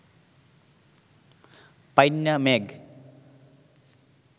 পাইন্না ম্যাগ